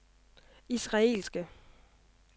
israelske